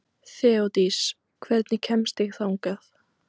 Þeódís, hvernig kemst ég þangað?